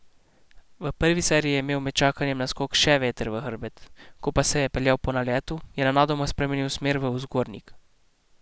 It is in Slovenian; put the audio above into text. V prvi seriji je imel med čakanjem na skok še veter v hrbet, ko pa se je peljal po naletu, je nenadoma spremenil smer v vzgornjik.